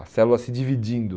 A célula se dividindo.